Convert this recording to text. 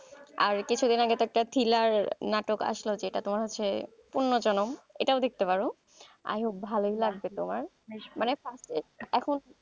আর কিছুদিন আগে তো একটা thriller নাটক আসলো যেটা হচ্ছে যে পণ্যজনম এটাও দেখতে পারো i hope ভালই লাগবে তোমার, মানে এখন,